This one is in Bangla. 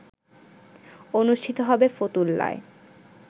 অনুষ্ঠিত হবে ফতুল্লায়